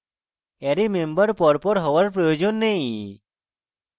array member পরপর হওয়ার প্রয়োজন নেই